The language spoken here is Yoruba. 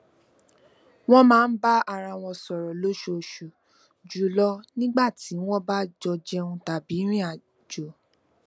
wón máa ń bá ara wọn sọrọ lóṣooṣù jùlọ nígbà tí wọn bá jọ jẹun tàbí rìn àjò